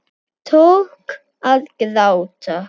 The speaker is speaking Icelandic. Tók að gráta.